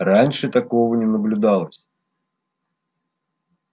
раньше такого не наблюдалось